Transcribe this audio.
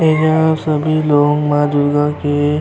यहाँ सभी लोग माँ दुर्गा के --